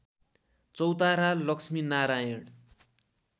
Chautara Laxminarayan